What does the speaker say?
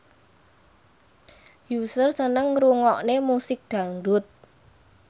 Usher seneng ngrungokne musik dangdut